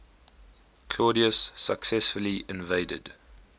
claudius successfully invaded